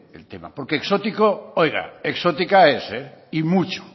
el tema porque exótico oiga exótica es y mucho